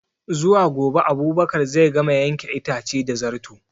Zuwa gobe Abubakar zai gama yanke itace da Zarto